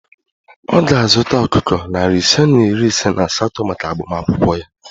Ọ ga-azụta ọkụkọ narị ise na iri ise na asatọ maka agbamakwụkwọ ya